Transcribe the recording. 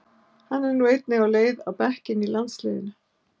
Hann er nú einnig á leið á bekkinn í landsliðinu.